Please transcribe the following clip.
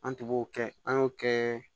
An tun b'o kɛ an y'o kɛ